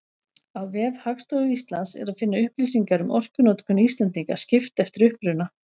Á vef Hagstofu Íslands er að finna upplýsingar um orkunotkun Íslendinga, skipt eftir uppruna.